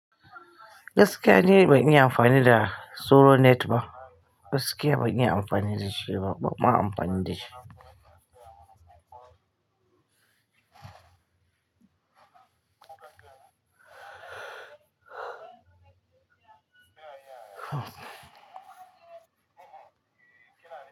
Gaskiya ni ban iyi amfani da sauro net ba. Gaskiya bai iya amfani da shi ba, ban ma amfani da shi.